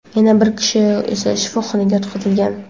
yana bir kishi esa shifoxonaga yotqizilgan.